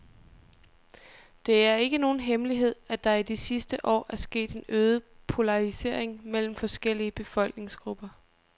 Det er ikke nogen hemmelighed, at der i de sidste år er sket en øget polarisering mellem forskellige befolkningsgrupper.